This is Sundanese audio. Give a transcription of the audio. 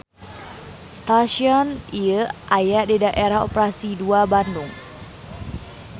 Stasion ieu aya di Daerah Operasi II Bandung.